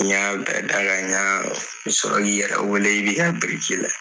N y'a bɛɛ da ka ɲa, n bɛ sɔrɔ k'i yɛrɛ wele i bi ka biriki lajɛ.